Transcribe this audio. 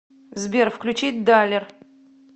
сбер включить далер